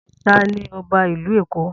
Ta ni ọba ìlú Èkó?